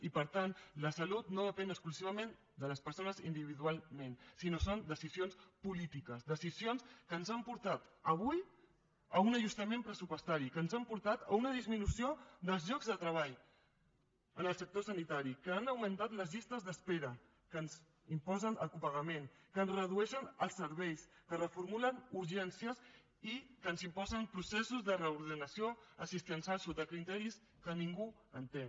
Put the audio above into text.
i per tant la salut no depèn exclusivament de les persones individualment sinó que són decisions polítiques decisions que ens han portat avui a un ajustament pressupostari que ens han portat a una disminució dels llocs de treball en el sector sanitari que han augmentat les llistes d’espera que ens imposen el copagament que ens redueixen els serveis que reformulen urgències i que ens imposen processos de reordenació assistencial sota criteris que ningú entén